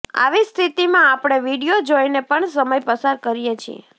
આવી સ્થિતિમાં આપણે વીડિયો જોઈને પણ સમય પસાર કરીએ છીએ